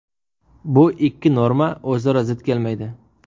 Bu ikki norma o‘zaro zid kelmaydi.